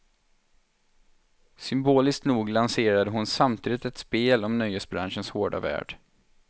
Symboliskt nog lanserade hon samtidigt ett spel om nöjesbranschens hårda värld.